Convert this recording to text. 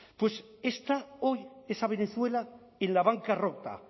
pues está hoy esa venezuela en la bancarrota